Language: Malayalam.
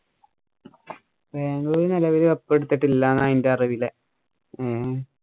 ബാംഗ്ലൂര് നെലവില് cup എടുത്തിട്ടില്ലാന്നാ എന്‍റെ അറിവില് ഏ